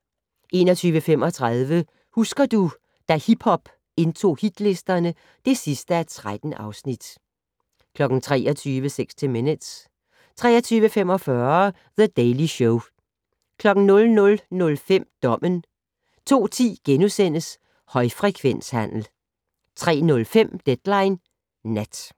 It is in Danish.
21:35: Husker du - da hiphop indtog hitlisterne (13:13) 23:00: 60 Minutes 23:45: The Daily Show 00:05: Dommen 02:10: Højfrekvenshandel * 03:05: Deadline Nat